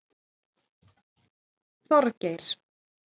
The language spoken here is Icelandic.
Þorgeir